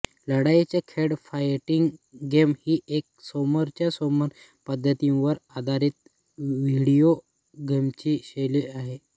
लढाईचे खेळ fighting game ही एक समोरच्या समोर पद्धतीवर आधारित व्हिडिओ गेमची शैली आहे